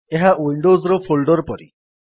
ଏହା ୱିଣ୍ଡୋଜ୍ ର ଫୋଲ୍ଡର୍ ପରି